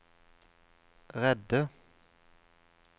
redde